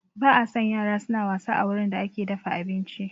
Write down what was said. Ba a son yara suna wasa a wurin da ake dafa abinci